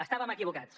estàvem equivocats